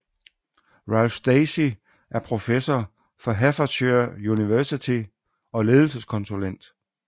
Ralph Stacey er professor fra Hertfordshire University og ledelseskonsulent